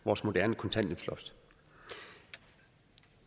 vores moderne kontanthjælpsloft